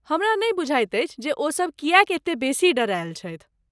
हमरा नहि बुझाइत अछि जे ओसब किएक एते बेसी डेरायल छथि।